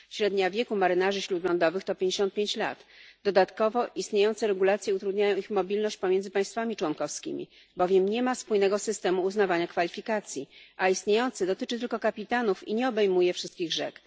Średnia wieku marynarzy śródlądowych to 55 lat, dodatkowo istniejące regulacje utrudniają ich mobilność pomiędzy państwami członkowskimi, bowiem nie ma spójnego systemu uznawania kwalifikacji, a istniejący dotyczy tylko kapitanów i nie obejmuje wszystkich rzek.